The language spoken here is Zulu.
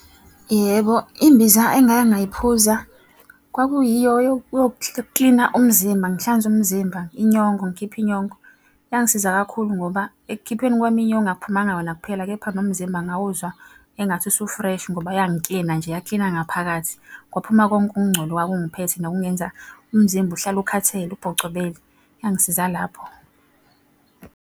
Yebo, imbiza engake ngayiphuza kwakuyiyo yokuklina umzimba ngihlanze umzimba, inyongo ngikhiphe inyongo. Yangisiza kakhulu ngoba ekukhipheni kwami inyongo akuphumanga yona kuphela, kepha nomzimba ngawuzwa engathi usu-fresh ngoba yangiklina nje yaklina ngaphakathi. Kwaphuma konke ukungcola okwakungiphethe nokungenza umzimba uhlale ukhathele ubhocobele yangisiza lapho.